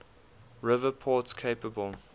river port capable